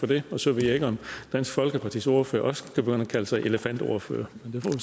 det så ved jeg ikke om dansk folkepartis ordfører også kan begynde at kalde sig elefantordfører